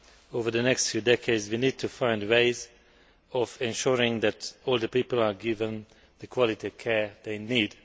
over the next few decades, we need to find ways of ensuring that older people are given the quality care they need.